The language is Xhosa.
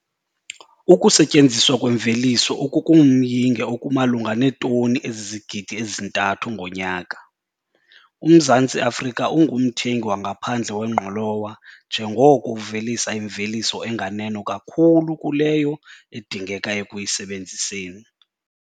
Ukusetyenziswa kwemveliso okungumyinge okumalunga neetoni ezizigidi ezi-3 ngonyaka, uMzantsi Afrika ungumthengi wangaphandle wengqolowa njengoko uvelisa imveliso enganeno kakhulu kuleyo edingeka ekuyisebenziseni.